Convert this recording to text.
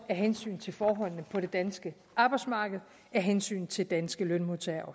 hensyn til forholdene på det danske arbejdsmarked af hensyn til danske lønmodtagere og